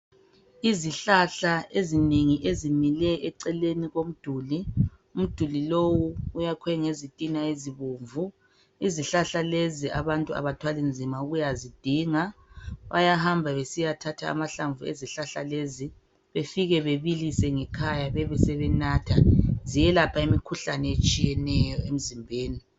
Izihlahla ezinengi ezimile eceleni komduli umduli lowu uyakhwe ngezitina ezibomvu izihlahla lezi abantu abathwali nzima ukuyazidinga bayahamba besiya thatha amahlamvu ezihlahla lezi befike bebilise ngekhaya bebe sebenatha ziyelapha imikhuhlane etshiyeneyo emizimbeni.